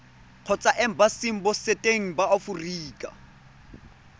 kgotsa embasing botseteng ba aforika